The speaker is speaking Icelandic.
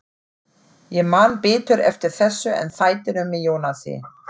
Ég man betur eftir þessu en þættinum með Jónasi.